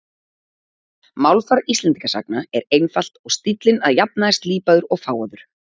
Málfar Íslendingasagna er einfalt og stíllinn að jafnaði slípaður og fágaður.